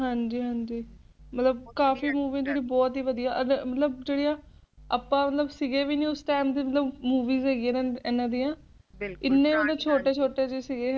ਹਾਂਜੀ ਹਾਂਜੀ ਮਤਲਬ ਕਾਫੀ Movie ਜਿਹੜੀ ਬਹੁਤ ਹੀ ਵਦੀਆ ਮਤਲਬ ਅਪਾ ਮਤਲਬ ਸਿਗੇ ਵੀ ਨਹੀਂ ਉਸ Time ਓਦੋਂ ਦੀ Movie ਹੈਗੀ ਇਹਨਾਂ ਦਿਆ ਇਹਨੇ ਅਪਾ ਛੋਟੇ ਛੋਟੇ ਸਿਗੇ